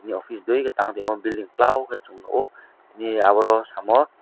office dui tangtaimo building klow khe chwng nuko bini aborok samow.